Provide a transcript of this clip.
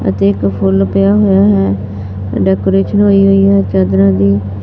ਅਤੇ ਇਕ ਫੁੱਲ ਪਿਆ ਹੋਇਆ ਹੈ ਡੈਕੋਰੇਸ਼ਨ ਹੋਈ ਹੈ ਚਾਦਰਾਂ ਦੀ--